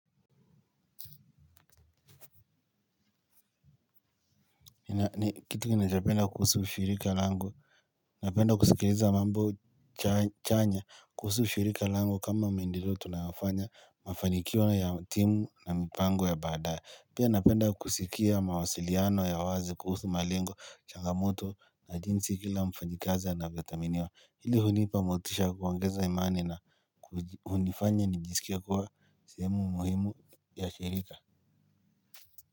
Kitu ninachopenda kuhusu shirika langu, napenda kusikiliza mambo chanya kuhusu shirika langu kama maendeleo tunayofanya mafanikio ya timu na mipango ya baadaye. Pia napenda kusikia mawasiliano ya wazi kuhusu malengo, changamoto na jinsi kila mfanyikazi anavyothaminiwa. Hili hunipa motisha ya kuongeza imani na hunifanya nijisikie kuwa sehemu muhimu ya shirika.